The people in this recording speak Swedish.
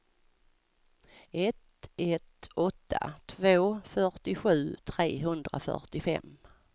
ett ett åtta två fyrtiosju trehundrafyrtiofem